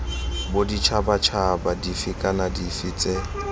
boditšhabatšhaba dife kana dife tse